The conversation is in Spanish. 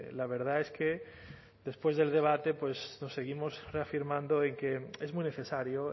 la verdad es que después del debate pues nos seguimos reafirmando en que es muy necesario